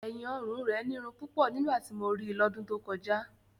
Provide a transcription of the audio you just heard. ẹ̀yìn-ọrùn rẹ̀ nírun púpọ̀ nígbà tí mo rí i lọ́dún tó kọjá.